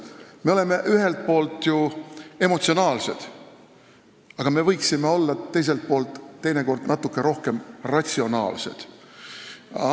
Me oleme ühelt poolt emotsionaalsed, aga me võiksime teiselt poolt teinekord natuke ratsionaalsemad olla.